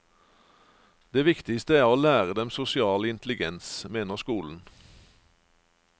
Det viktigste er å lære dem sosial intelligens, mener skolen.